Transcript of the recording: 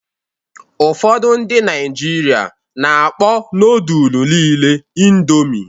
Ụfọdụ ndị Naịjirịa na-akpọ nodulu niile Indomi.